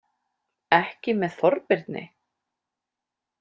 Ekki með Þorbirni?